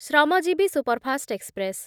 Shramjeevi superfast express